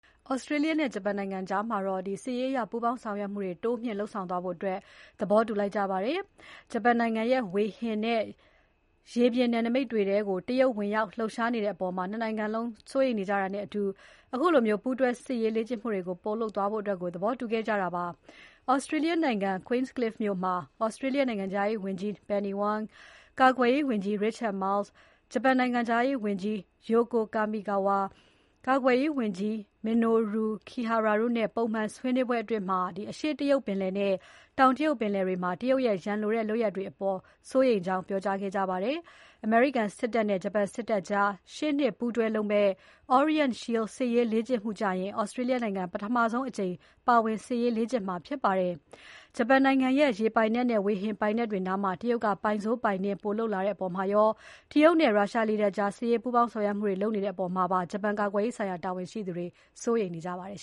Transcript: ဩစတြေးလျနဲ့ ဂျပန်နိုင်ငံကြား စစ်ရေးလေ့ကျင့်မှုတွေ တိုးမြှင့်လုပ်ဖို့ သဘောတူညီလိုက်ကြပါတယ်။ ဂျပန်နိုင်ငံရဲ့ ဝေဟင်နဲ့ ရေပြင်နယ်နိမိတ်တွေထဲကို တရုတ်ဝင်ရောက် လှုပ်ရှားနေတဲ့အပေါ် ၂ နိုင်ငံလုံး စိုးရိမ်နေကြတာနဲ့အတူ ခုလို ပူးတွဲစစ်ရေးလေ့ကျင့်မှုတွေ ပိုလုပ်သွားဖို့ သဘောတူညီခဲ့ကြတာပါ။ဩစတြေးလျနိုင်ငံ Queenscliff မြို့မှာ ဩစတြေးလျနိုင်ငံခြားရေးဝန်ကြီး Penny Wong, ကာကွယ်ရေးဝန်ကြီး Richard Marles, ဂျပန်နိုင်ငံခြားရေးဝန်ကြီး Yoko Kamikawa, ကာကွယ်ရေးဝန်ကြီး Minoru Kihara တို့နဲ့ ပုံမှန် ဆွေးနွေးပွဲအတွင်း အရှေ့တရုတ်ပင်လယ်နဲ့ တောင်တရုတ်ပင်လယ်တွေထဲမှာ တရုတ်ရဲ့ ရန်လိုတဲ့ လုပ်ရပ်တွေအပေါ် စိုးရိမ်ကြောင်း ပြောကြားခဲ့ကြပါတယ်။ အမေရိကန်စစ်တပ်နဲ့ ဂျပန်စစ်တပ်ကြား ရှေ့နှစ် ပူးတွဲလုပ်မယ့် Orient Shield စစ်ရေးလေ့ကျင့်မှုကျရင် ဩစတြေးလျနိုင်ငံ ပထမဆုံးအကြိမ် ပါဝင်စစ်ရေးလေ့ကျင့်မှာ ဖြစ်ပါတယ်။ ဂျပန်နိုင်ငံရဲ့ ရေပိုင်နက်နဲ့၊ ဝေဟင်ပိုင်နက်တွေနားမှာ တရုတ်က ပိုင်စိုး ပိုင်နင်း ပိုလုပ်လာတဲ့အပေါ်မှာရော၊ တရုတ်နဲ့ ရုရှားလေတပ်ကြား စစ်ရေးပူးပေါင်းဆောင်ရွက်မှုတွေ ပိုလုပ်လာတဲ့ အပေါ်မှာပါ ဂျပန်ကာကွယ်ရေးဆိုင်ရာ တာဝန်ရှိသူတွေ စိုးရိမ်နေကြပါတယ်